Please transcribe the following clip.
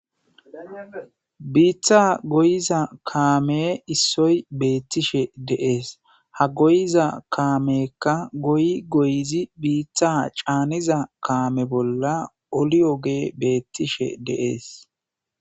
Biita goyza kaame issoy beetishe de'es,ha goyiza kaameyika goyi goyizi bota caniza kaame bolla oliyogeyi beetishe de'es.